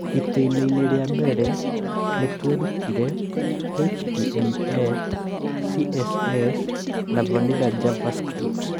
Itĩĩna-inĩ rĩa mbere, nĩ tweerutire HTML, CSS, na vanilla JavaScript.